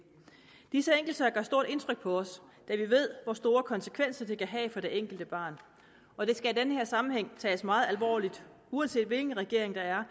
disse enkeltsager gør stort indtryk på os da vi ved hvor store konsekvenser de kan have for det enkelte barn og det skal i den her sammenhæng tages meget alvorligt uanset hvilken regering der er